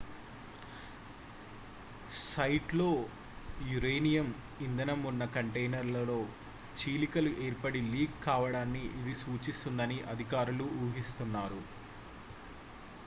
సైట్లో యురేనియం ఇంధనం ఉన్న కంటైనర్లలో చీలికలు ఏర్పడి లీక్ కావడాన్ని ఇది సూచిస్తుందని అధికారులు ఉహిస్తున్నారు